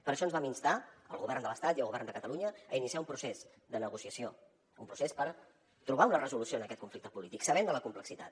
per això ens vam instar el govern de l’estat i el govern de catalunya a iniciar un procés de negociació un procés per trobar una resolució en aquest conflicte polític sabent ne la complexitat